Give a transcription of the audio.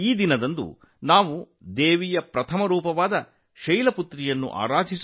ಇದರಲ್ಲಿ ದೇವಿಯ ಮೊದಲ ಅವತಾರ ಮಾತೆ ಶೈಲಪುತ್ರಿಯನ್ನು ಪೂಜಿಸುತ್ತೇವೆ